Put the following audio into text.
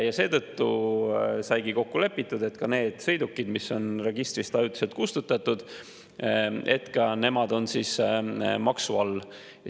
Ja seetõttu saigi kokku lepitud, et ka need sõidukid, mis on registrist ajutiselt kustutatud, on maksu all.